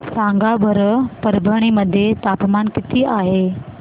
सांगा बरं परभणी मध्ये तापमान किती आहे